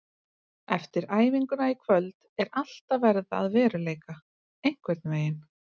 Eftir æfinguna í kvöld er allt að verða að veruleika einhvern veginn.